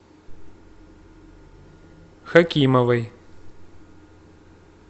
хакимовой